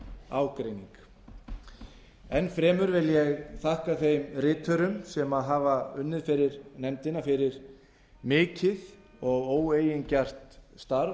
ágreining enn fremur vil ég þakka þeim riturum sem hafa unnið fyrir nefndina fyrir mikið og óeigingjarnt starf